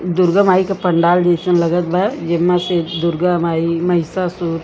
दुर्गा मई के पंडाल जइसन लगत बा जे में से दुर्गा माई महिसासुर --